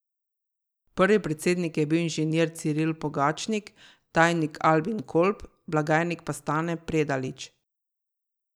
Prvi predsednik je bil inženir Ciril Pogačnik, tajnik Albin Kolb, blagajnik pa Stane Predalič.